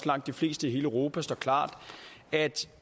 langt de fleste i hele europa står klart at